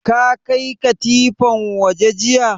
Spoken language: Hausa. Ka kai katifan waje jiya?